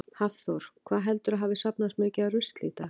Hafþór: Hvað heldurðu að hafi safnast mikið af rusli í dag?